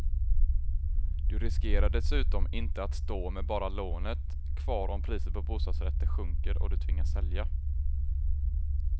Du riskerar dessutom inte att stå med bara lånet kvar om priset på bostadsrätter sjunker och du tvingas sälja.